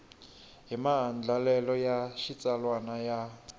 hi maandlalelo ya xitsalwana ya